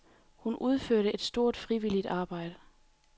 Hun udførte et stort, frivilligt arbejde.